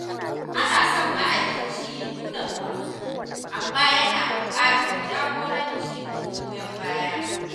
Ana son ma’aikaci ya nuna ƙwazo, amma yana buƙatar jagoranci da goyon baya.